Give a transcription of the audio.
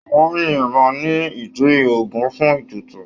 Wọ́n yin ìbọn ní ìdí Ògún fún ètùtù.